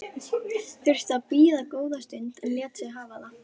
Þurfti að bíða góða stund en lét sig hafa það.